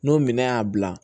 N'o minɛn y'a bila